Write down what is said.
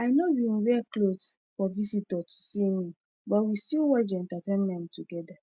i no bin wear cloth for visitor to see me but we still watch the entertainment together